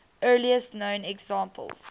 earliest known examples